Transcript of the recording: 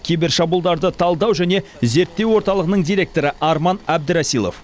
кибер шабуылдарды талдау және зерттеу орталығының директоры арман әбдірасилов